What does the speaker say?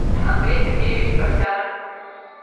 андрей сергеевич просянок